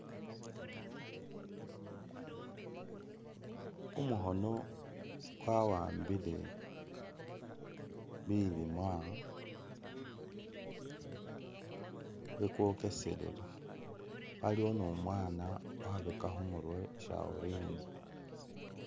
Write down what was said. Kumukhoono kwa'ambile bilimwa yekwokesele aliwo numwaana wabeka khumurwe shaurini